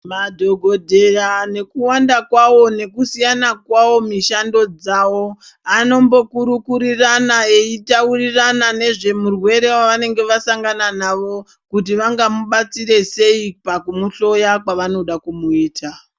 Madhokodheya nekuwanda kwawo nekuwanda kwawo nekusiyana kwawo mishando dzawo anombokurukurirana eitaurirarana nezvemurwere wavanenge vasangana navo kuti vangamubatsire sei pakumuhloya kwavangada kumuita.